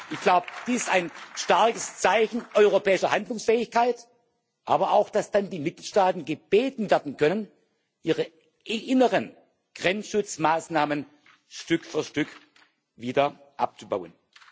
Ich glaube, dies ist ein starkes Zeichen europäischer Handlungsfähigkeit, aber auch, dass dann die Mitgliedstaaten gebeten werden können, ihre inneren Grenzschutzmaßnahmen Stück für Stück wieder abzubauen.